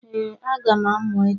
Ee, m ga-amụ echi.